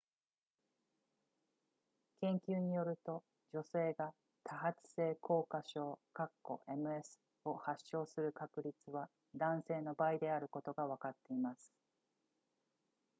研究によると女性が多発性硬化症 ms を発症する確率は男性の倍であることがわかっています